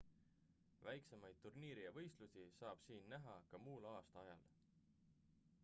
väiksemaid turniire ja võistlusi saab siin näha ka muul aastaajal